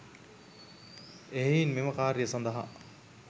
එහෙයින් මෙම කාර්යය සඳහා